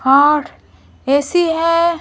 Hot ऐसी है।